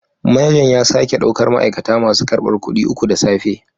Manajan ya sake daukar ma'aikata masu karbar kudi uku da safe